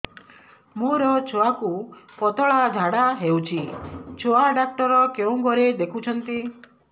ମୋର ଛୁଆକୁ ପତଳା ଝାଡ଼ା ହେଉଛି ଛୁଆ ଡକ୍ଟର କେଉଁ ଘରେ ଦେଖୁଛନ୍ତି